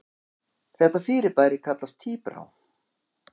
Þetta fyrirbæri kallast tíbrá.